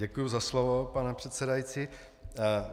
Děkuji za slovo, pane předsedající.